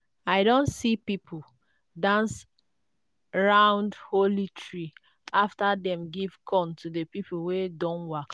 i don see people dance round holy tree after dem give corn to the people wey don waka.